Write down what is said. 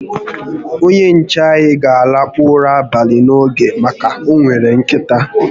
Onye nche anyi ga a lakpu ụra abalị n'oge maka na onwere nkịta